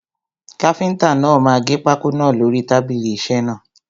Káfíntà náà máa gẹ pákó náà lórí tábìlì isẹ́ náà.